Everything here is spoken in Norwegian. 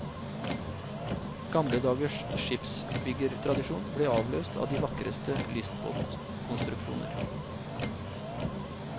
Gamle dagers skipsbyggertradisjon ble avløst av de vakreste lystbåtkonstruksjoner.